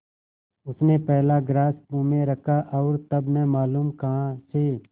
उसने पहला ग्रास मुँह में रखा और तब न मालूम कहाँ से